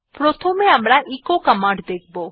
প্রথমে আমরা echo command দেখব